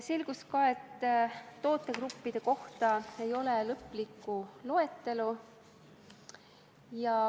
Selgus ka, et tootegruppide kohta ei ole lõplikku loetelu.